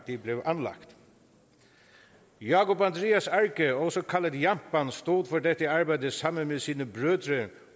de blev anlagt jákup andrias arge også kaldet jampan stod for dette arbejde sammen med sine